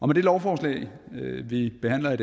med det lovforslag vi behandler i